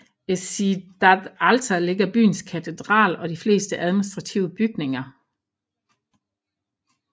I Cidade Alta ligger byens katedral og de fleste administrative bygninger